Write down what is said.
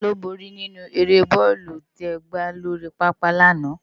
Táló bóri ninú ëré bòlú tè gbá lóri pápá làná?